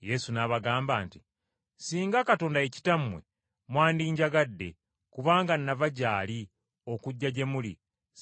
Yesu n’abagamba nti, “Singa Katonda ye Kitammwe mwandinjagadde, kubanga nava gy’ali okujja gye muli,